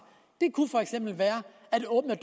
det kunne for eksempel være at åbne